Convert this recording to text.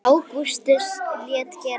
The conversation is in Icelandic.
Ágústus lét gera við